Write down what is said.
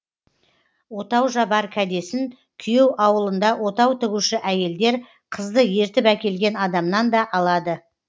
отау жабар кәдесін куйеу аулында отау тігуші әйелдер қызды ертіп әкелген адамнан да алады